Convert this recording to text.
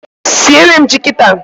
Siere m ji kita